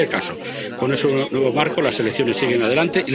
En cualquier caso, con ese nuevo marco las elecciones siguen adelante.